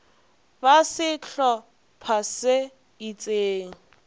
ba sehlo pha se itseng